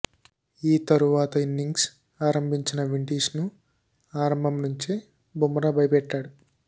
ఈ తరువాత ఇన్నింగ్స్ ఆరంభించిన విండీస్ను ఆరంభం నుంచే బుమ్రా భయపెట్టాడు